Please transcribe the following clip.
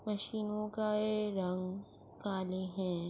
مشینو کا یہ رنگ کالے ہے۔